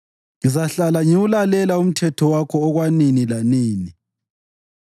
Ngizahlala ngiwulalela umthetho wakho, okwanini lanini.